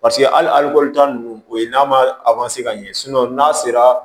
Paseke hali taa ninnu o ye n'a ma ka ɲɛ n'a sera